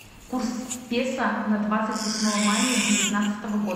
курс песо на двадцать восьмое мая девятнадцатого года